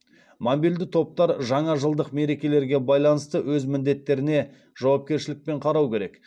мобильді топтар жаңажылдық мерекелерге байланысты өз міндеттеріне жауапкершілікпен қарау керек